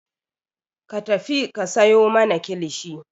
Ka tafi ka sayo mana kilishi!